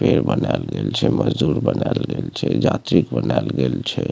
पेड़ बनाल गेल छै मजदूर बनाल गेल छै यात्रिक बनाल गेल छै।